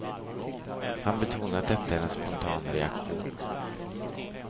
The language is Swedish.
Han betonar att detta är en spontan reaktion.